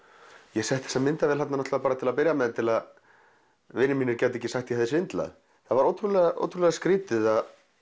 ég setti þessa myndavél þarna til að byrja með til að vinir mínir gætu ekki sagt að ég hefði svindlað það var ótrúlega ótrúlega skrítið að